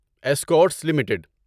Escorts limited